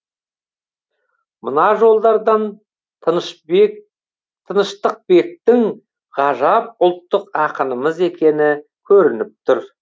мына жолдардан тыныштықбектің ғажап ұлттық ақынымыз екені көрініп тұр